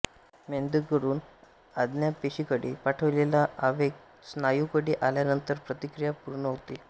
मेंदूकडून आज्ञापेशीकडे पाठविलेला आवेग स्नायूकडे आल्यानंतर प्रतिक्रिया पूर्ण होते